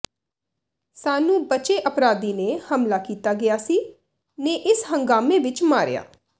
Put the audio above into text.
ਸਾਨੂੰ ਬਚੇ ਅਪਰਾਧੀ ਨੇ ਹਮਲਾ ਕੀਤਾ ਗਿਆ ਸੀ ਨੇ ਇਸ ਹੰਗਾਮੇ ਵਿਚ ਮਾਰਿਆ